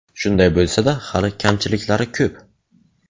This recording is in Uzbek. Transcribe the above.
Shunday bo‘lsa-da, hali kamchiliklari ko‘p.